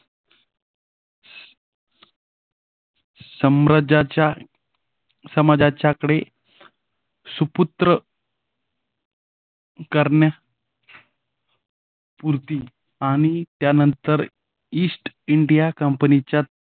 साम्राज्याच्या समाजाच्या कडे सुपुत्र करण्यापूर्ती आणि त्यानंतर ईस्ट इंडिया कंपनीच्या